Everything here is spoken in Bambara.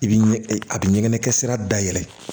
I bi ɲɛ a bi ɲɛ kɛ sira da yɛlɛ